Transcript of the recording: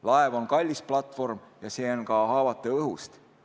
Laev on kallis platvorm ja see on ka haavatav õhust.